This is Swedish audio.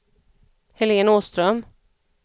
Helen Åström